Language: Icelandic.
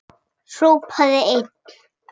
Hrópaði einn: